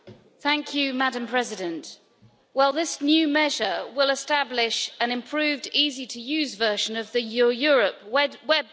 Madam President, well this new measure will establish an improved easy to use version of the Your Europe web portal.